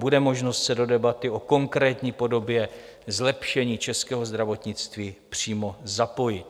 Bude možnost se do debaty o konkrétní podobě zlepšení českého zdravotnictví přímo zapojit.